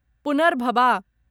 पुनर्भबा